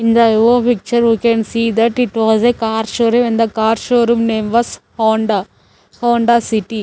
In the above picture we can see that it was a car showroom and the car showroom name was Honda Honda City.